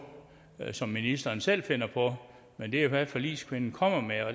som ministeren selv finder på men det er hvad forligskvinden kommer med